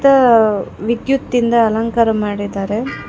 ಆ ವಿದ್ಯುತ್ ಇಂದ ಅಲಂಕಾರ ಮಾಡಿದ್ದಾರೆ.